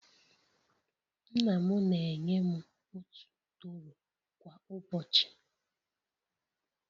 Nna m na-enye m otu tọrọ kwa ụbọchị